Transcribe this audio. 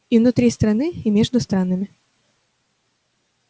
и внутри страны и между странами